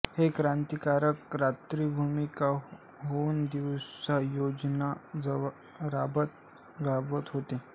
हे क्रांतिकारक रात्री भूमिगत होऊन दिवसा योजना राबवत होते